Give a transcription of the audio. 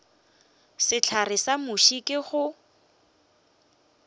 sehlare sa muši ke go